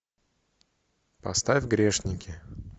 поставь грешники